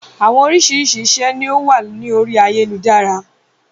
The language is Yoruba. Àwọn oríṣiríṣi iṣẹ́ ni ó wà ní orí ayélujára.